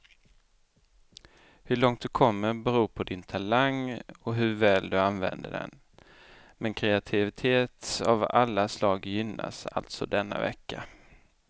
Hur långt du kommer beror på din talang och hur väl du använder den, men kreativitet av alla slag gynnas alltså denna vecka.